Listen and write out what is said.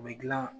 U bɛ gilan